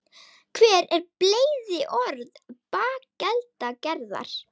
hver eru bleyðiorð bakeldagerðar